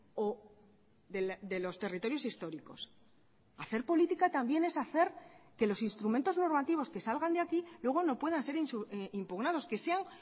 o de los territorios históricos hacer política también es hacer que los instrumentos normativos que salgan de aquí luego no puedan ser impugnados que sean